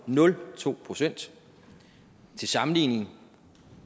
nul procent til sammenligning